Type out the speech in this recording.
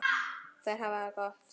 Þær hafa það gott.